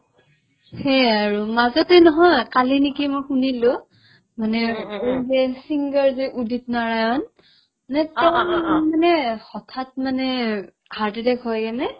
সেয়ে আৰু মাজতে নহয় কালি নেকি মই শুনিলো মানে এই যে singer যে উদিত নাৰায়ণ মানে তেওঁৰ মানে হঠাৎ মানে heart attack হৈ কিনে